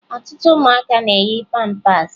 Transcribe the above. Ọtụtụ ụmụaka na-eyi pampaasị